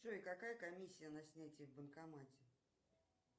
джой какая комиссия на снятие в банкомате